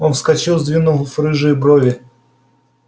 он вскочил сдвинув рыжие брови